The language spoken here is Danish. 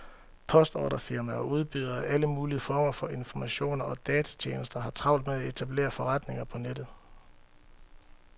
Postordrefirmaer og udbydere af alle mulige former for informationer og datatjenester har travlt med at etablere forretninger på nettet.